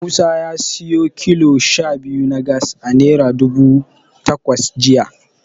Musa ya siyo kilo sha biyu na Gas a Naira dubu takwas jiya.